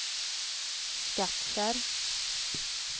Skattkärr